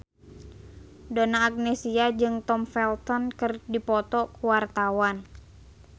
Donna Agnesia jeung Tom Felton keur dipoto ku wartawan